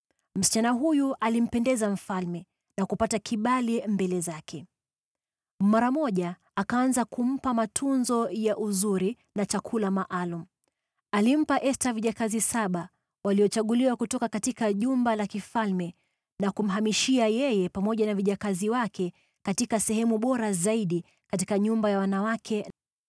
Msichana huyu alimpendeza na kupata kibali mbele zake. Mara moja akaanza kumpa matunzo ya uzuri na chakula maalum. Alimpa Esta vijakazi saba waliochaguliwa kutoka jumba la kifalme, na kumhamishia yeye pamoja na vijakazi wake katika sehemu bora zaidi katika nyumba ya wanawake.